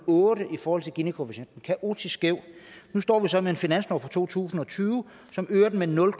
i forhold til ginikoefficienten kaotisk skæv nu står vi så med en finanslov for to tusind og tyve som øger den med nul